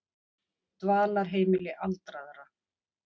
Dvalarheimili aldraðra